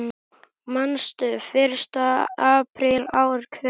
Manstu: Fyrsta apríl ár hvert.